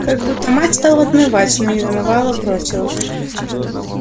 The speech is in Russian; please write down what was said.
как будто мать стала отмывать но не домывала бросила